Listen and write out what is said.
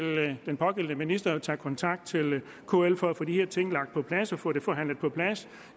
den pågældende minister tage kontakt til kl for at få de her ting på plads og få det forhandlet på plads